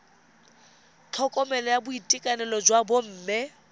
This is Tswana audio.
tlhokomelo ya boitekanelo jwa bomme